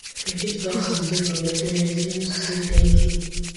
you fit buy something for your parents use say thank you